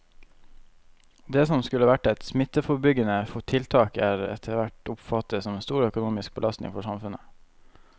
Det som skulle være et smitteforebyggende tiltak er etterhvert oppfattet som en stor økonomisk belastning for samfunnet.